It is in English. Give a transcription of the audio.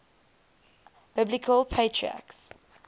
biblical patriarchs